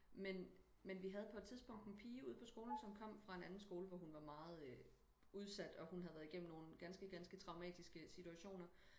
Men men vi havde på et tidspunkt en pige ude på skolen som kom fra en anden skole og hun havde været gennem nogen ganske ganske traumatiske situationer